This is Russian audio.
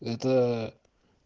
это